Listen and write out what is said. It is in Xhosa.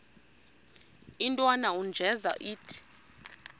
intwana unjeza ithi